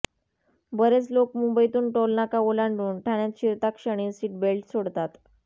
बरेच लोक मुंबईतून टोलनाका ओलांडून ठाण्यात शिरताक्षणी सीटबेल्ट सोडतात